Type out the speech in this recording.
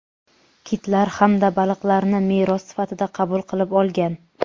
kitlar hamda baliqlarni meros sifatida qabul qilib olgan.